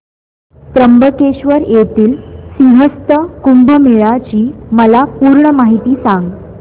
त्र्यंबकेश्वर येथील सिंहस्थ कुंभमेळा ची मला पूर्ण माहिती सांग